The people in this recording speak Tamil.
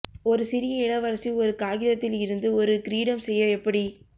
ஒரு சிறிய இளவரசி ஒரு காகிதத்தில் இருந்து ஒரு கிரீடம் செய்ய எப்படி